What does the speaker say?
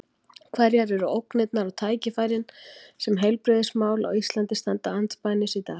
Hverjar eru ógnirnar og tækifærin sem heilbrigðismál á Íslandi standa andspænis í dag?